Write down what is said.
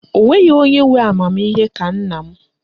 O nweghị onye nwe amamihe ka nna m